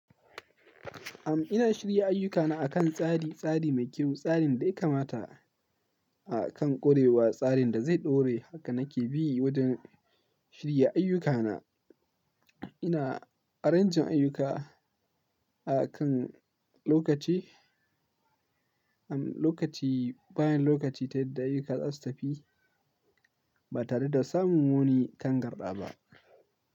Am, ina shirya ayyukana akan tsari, tsari mai kyau, tsarin dai kamata A kan ƙurewa, tsarin da zai ɗore. Haka nake bi wajen shirya ayyukana. Ina ƙarancin ayyuka a kan lokaci, am lokaci, bayan lokaci ta yadda ayyukata za su tafi Ba tare da samun wani kangarɗa ba.